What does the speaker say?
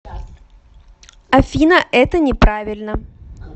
афина это не правильно